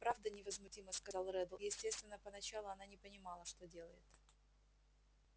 правда невозмутимо сказал реддл естественно поначалу она не понимала что делает